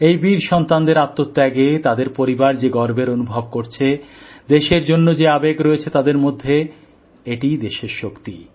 এই বীর সন্তানদের আত্মত্যাগে তাদের পরিবার যে গর্বের অনুভব করছে দেশের জন্য যে আবেগ রয়েছে তাদের মধ্যে এটিই দেশের শক্তি